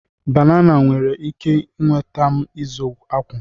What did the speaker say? banana nwere ike nweta m izu akwụ?